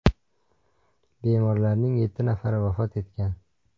Bemorlarning yetti nafari vafot etgan .